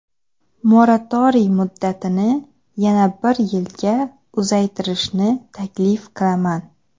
moratoriy muddatini yana bir yilga uzaytirishni taklif qilaman.